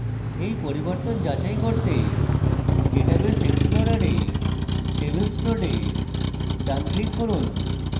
এই পরিবর্তন যাচাই করতে database explorer tables node ডান click করুন